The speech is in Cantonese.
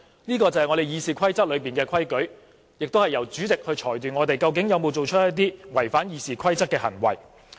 這是《議事規則》的規矩，並且由主席裁斷我們有否做出一些違反《議事規則》的行為。